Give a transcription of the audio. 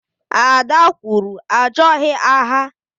Ada kwuru, achoghị agha